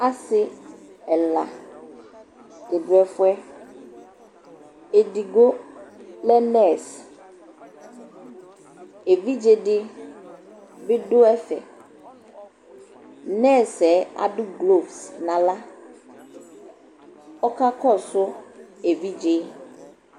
Asɩ ɛla dɩ dʋ ɛfʋɛ : edigbo lɛ nɛsɩ , evidzedɩ bɩ dʋ ɛfɛ nɛsɩɛ adʋ gloz n'aɣla, ɔka kɔsʋ evidzee